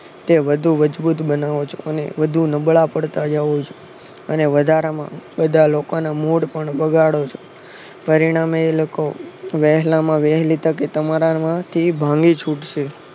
તે વધુ મજબૂત બનાવો છો અને વધુ નબળા પડતા હોય છે અને વધારે બધાના મૂડ પણ બગાડો છો. પરિણામે એ લોકો વહેલામાં વહેલી ટકે તમારા માંથી ભાગી છૂટશે